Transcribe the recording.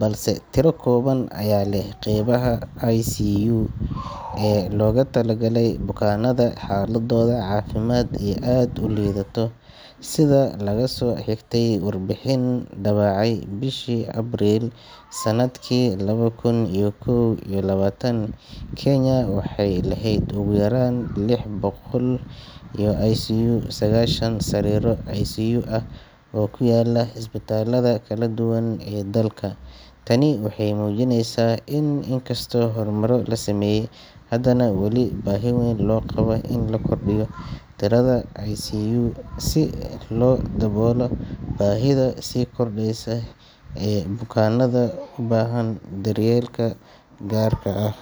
balse tiro kooban ayaa leh qaybaha ICU (Intensive Care Unit) ee loogu talagalay bukaannada xaaladooda caafimaad ay aad u liidato. Sida laga soo xigtay warbixin la daabacay bishii Abriil sanadkii laba kun iyo kow iyo labaatan, Kenya waxay lahayd ugu yaraan lix boqol iyo lix iyo sagaashan sariiro ICU ah oo ku kala yaalla isbitaalada kala duwan ee dalka. Tani waxay muujinaysaa in inkastoo horumaro la sameeyay, haddana weli baahi weyn loo qabo in la kordhiyo tirada sariiraha ICU si loo daboolo baahida sii kordheysa ee bukaannada u baahan daryeel gaar ah.